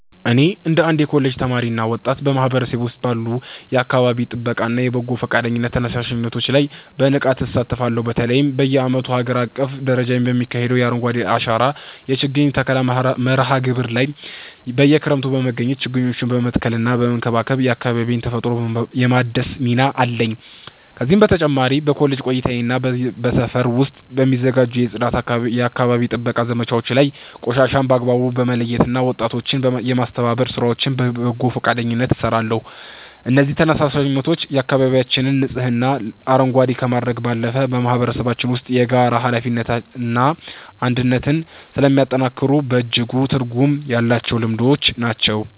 እኔ እንደ አንድ የኮሌጅ ተማሪና ወጣት፣ በማህበረሰቤ ውስጥ ባሉ የአካባቢ ጥበቃና የበጎ ፈቃደኝነት ተነሳሽነቶች ላይ በንቃት እሳተፋለሁ። በተለይም በየዓመቱ በአገር አቀፍ ደረጃ በሚካሄደው የ“አረንጓዴ አሻራ” የችግኝ ተከላ መርሃ ግብር ላይ በየክረምቱ በመገኘት ችግኞችን በመትከልና በመንከባከብ የአካባቢዬን ተፈጥሮ የማደስ ሚና አለኝ። ከዚህ በተጨማሪ በኮሌጅ ቆይታዬና በሰፈር ውስጥ በሚዘጋጁ የጽዳትና የአካባቢ ጥበቃ ዘመቻዎች ላይ ቆሻሻን በአግባቡ የመለየትና ወጣቶችን የማስተባበር ሥራዎችን በበጎ ፈቃደኝነት እሰራለሁ። እነዚህ ተነሳሽነቶች አካባቢያችንን ንጹህና አረንጓዴ ከማድረግ ባለፈ፣ በማህበረሰባችን ውስጥ የጋራ ኃላፊነትንና አንድነትን ስለሚያጠናክሩ በእጅጉ ትርጉም ያላቸው ልምዶች ናቸው።